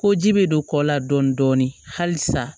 Ko ji bɛ don kɔ la dɔɔnin dɔɔnin hali sa